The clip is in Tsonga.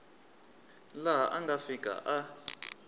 laha a nga fika a